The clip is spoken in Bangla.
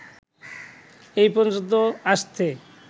এ পর্যন্ত আসতে